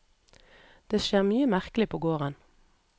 Det skjer mye merkelig på gården.